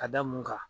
Ka da mun kan